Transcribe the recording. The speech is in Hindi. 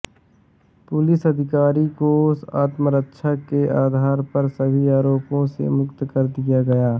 पुलिस अधिकारी को आत्मरक्षा के आधार पर सभी आरोपों से मुक्त कर दिया गया